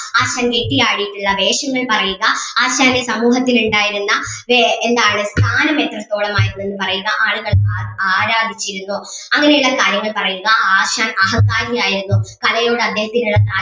ആശാൻ കെട്ടി ആടിയിട്ടുള്ള വേഷങ്ങൾ പറയുക ആശാന്റെ സമൂഹത്തിലുണ്ടായിരുന്ന വേ എന്താണ് സ്ഥാനം എത്രത്തോളം ആയിരുന്നെന്നു പറയുക ആളുകൾ അഹ് ആരാധിച്ചിരുന്നോ അങ്ങനെയുള്ള കാര്യങ്ങൾ പറയുക ആശാൻ അഹങ്കാരി ആയിരുന്നോ കലയോട് അദ്ദേഹത്തിന്